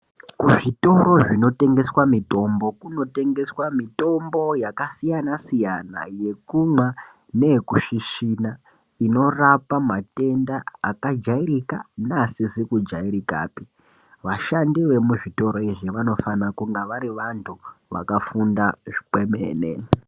Kuzvitoro zvinotengeswa mitombo, kunotengeswa mitombo yakasiyana siyana yekumwa neyekusvisvina inorape matenda akajairika neaisizi kujairikapi. Vanhu vanoshande muzvitoro izvi vanofanire kunge vari vantu vakafunda kwemene.